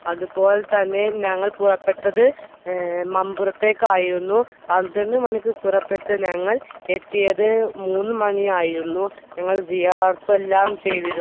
അതുപോലെതന്നെ ഞങ്ങൾ പുറപ്പെട്ടത് മമ്പുറത്തേക്ക് ആയിരുന്നു പന്ത്രണ്ട് മണിക്ക് പുറപ്പെട്ടു ഞങ്ങൾ എത്തിയത് മൂന്നു മണി ആയിരുന്നു ഞങ്ങൾ എല്ലാം ചെയ്തിരുന്നു